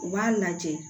U b'a lajɛ